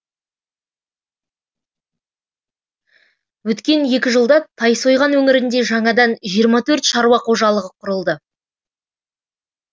өткен екі жылда тайсойған өңірінде жаңадан жиырма төрт шаруа қожалығы құрылды